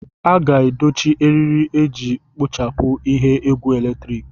A ga-edochi eriri iji kpochapụ ihe egwu eletrik.